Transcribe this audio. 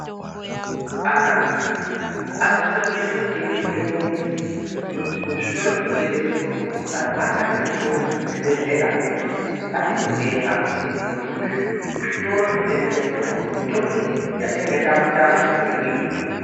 Anhu anosise kuende kotenge mitombo kuzvitoro zvinotengese mitombo kana mwatame mitombo kuzvibhedhlera ngatindotenga ngokuti kuzvitoro zvinotengesa mitombo, mitombo iyi yatinenge tatama iyi inenge iriyo.